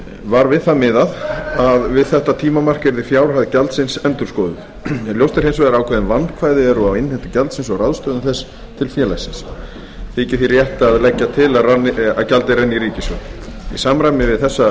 var við það miðað að við þetta tímamark yrði fjárhæð gjaldsins endurskoðuð ljóst er hins vegar að ákveðin vandkvæði eru á innheimtu gjaldsins og ráðstöfun þess til félagsins þykir því rétt að leggja til að gjaldið renni í ríkissjóð í samræmi við þessa framsetningu